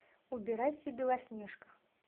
убирайся белоснежка